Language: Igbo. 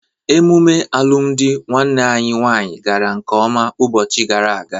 Emume alụmụdi nwanne anyị nwaanyị gara nkeọma ụbọchị gara aga.